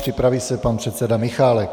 Připraví se pan předseda Michálek.